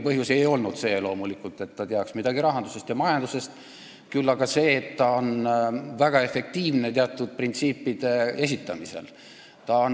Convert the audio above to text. Põhjus ei olnud loomulikult see, et ta teab midagi rahandusest ja majandusest, vaid see, et ta on väga efektiivne teatud printsiipide esitamisel.